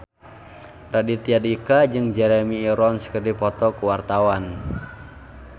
Raditya Dika jeung Jeremy Irons keur dipoto ku wartawan